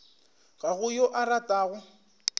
ga go yo a ratago